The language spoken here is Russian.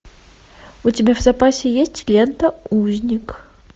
у тебя в запасе есть лента узник